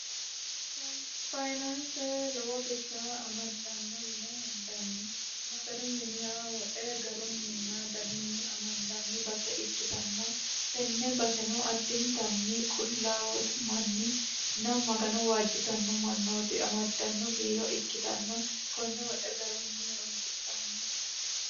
fayinaanse lowo birra amaddanno yine hendanni maganu miniha woxe garunninna danunni amandanni base ikkitanna tenne baseno addintanni qullaawootu manninna magano waajjitanno mannooti amaddanno biiro ikkitanna konne woxe garunni horonsidhanno